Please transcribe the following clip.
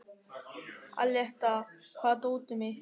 Aletta, hvar er dótið mitt?